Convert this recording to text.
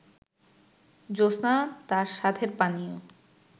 জ্যোৎস্না তার সাধের পানীয়